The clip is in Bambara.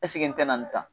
n tɛna nin tan tan